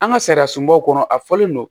An ka sariya sunbaw kɔnɔ a fɔlen don